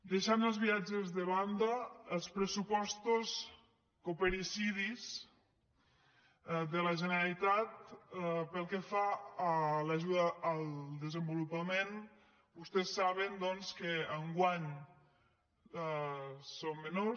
deixant els viatges de banda els pressupostos coopericidis de la generalitat pel que fa a l’ajuda al desenvolupament vostès saben que enguany són menors